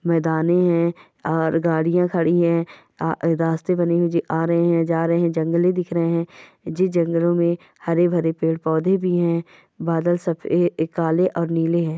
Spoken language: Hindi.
मैदाने हैं और गाडियां खड़ी है आ रास्ते बने हुए है जी आ रहे है जा रहे है जंगले दिख रहे है जी जंगलों मे हरे भरे पेड पौधे भी है बादल सफे ऐ काले और निले है।